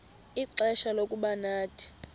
ixfsha lokuba nathi